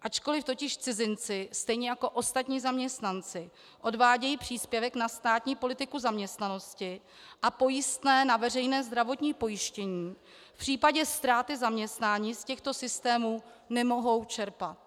Ačkoli totiž cizinci stejně jako ostatní zaměstnanci odvádějí příspěvek na státní politiku zaměstnanosti a pojistné na veřejné zdravotní pojištění, v případě ztráty zaměstnání z těchto systémů nemohou čerpat.